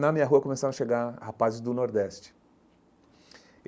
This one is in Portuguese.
Na minha rua começaram a chegar rapazes do Nordeste.